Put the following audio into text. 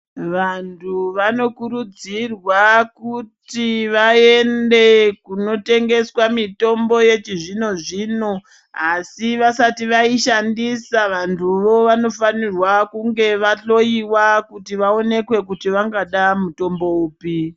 Vantu vanokurudzirwa kuti vaende kunotengeswa mitombo yechizvino zvino asi vasati vaishandisa vantuwo vanofanirwa kunge vahloyiwa kuti vaonekwe kuti vangada mutombo upi.